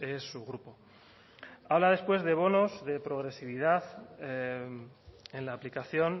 es su grupo habla después de bonos de progresividad en la aplicación